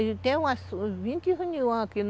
E tem umas vinte reuniões aqui.